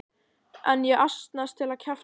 En ég að asnast til að kjafta frá.